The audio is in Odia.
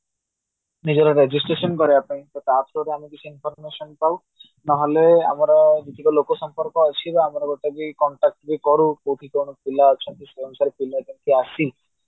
ନିଜର registration କରାଇବା ପାଇଁ ତ ତା through ରେ ଆମେ କିଛି information ପାଉ ନହଲେ ଆମର ଯେତିକି ଲୋକ ସମ୍ପର୍କ ଅଛି କି ଆମର ଗୋଟେ ବି contact ବି କରୁ କୋଉଠି କଣ ପିଲା ଅଛନ୍ତି ସେଇ ଅନୁସାରେ ପିଲା କେମିତି ଆସି